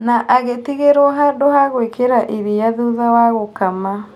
Na agĩtigĩrwo handũ ha gwĩkĩra iria thutha wa gũkama.